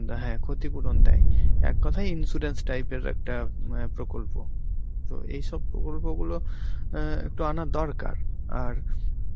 দেয়, হ্যা ক্ষতিপূরণ দেয়, এক কথায় insurance type এর একটা অ্যাঁ প্রকল্প. তো এইসব প্রকল্পগুলো অ্যাঁ একটু আনা দরকার আর